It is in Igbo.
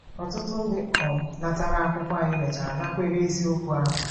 Ọtụtụ ndị um natara akwụkwọ anyị mechara nakwere eziokwu ahụ.